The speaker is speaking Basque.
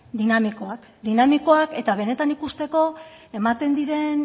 dinamikoak dinamikoak eta benetan ikusteko ematen diren